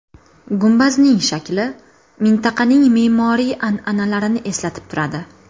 Gumbazning shakli mintaqaning me’moriy an’analarini eslatib turadi.